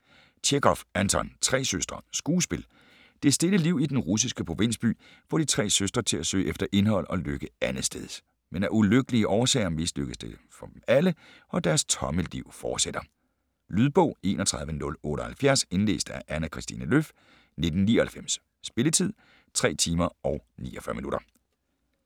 Tjechov, Anton: Tre søstre Skuespil. Det stille liv i den russiske provinsby får de tre søstre til at søge efter indhold og lykke andetsteds. Men af ulykkelige årsager mislykkes det for dem alle, og deres tomme liv fortsætter. Lydbog 31078 Indlæst af Anna Christine Löf, 1999. Spilletid: 3 timer, 49 minutter.